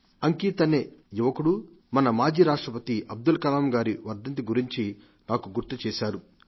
అంకిత్ అనే యువకుడు మన పూర్వ రాష్ట్రపతి అబ్దుల్ కలాం గారి వర్ధంతిని గురించి గుర్తుచేశారు